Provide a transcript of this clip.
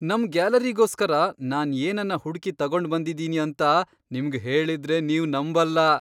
ನಮ್ ಗ್ಯಾಲರಿಗೋಸ್ಕರ ನಾನ್ ಏನನ್ನ ಹುಡ್ಕಿ ತಗೊಂಡ್ಬಂದಿದೀನಿ ಅಂತ ನಿಮ್ಗ್ ಹೇಳಿದ್ರೆ ನೀವ್ ನಂಬಲ್ಲ!